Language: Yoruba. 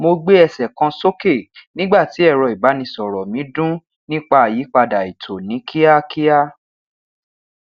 mo gbe ẹsẹ kan soke nigba ti ẹrọ ibanisọrọ mi dun nipa ayipada eto ni kiakia